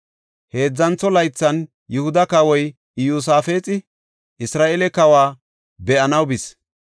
Heedzantho laythan, Yihuda kawoy Iyosaafexi Isra7eele kawa be7anaw bis.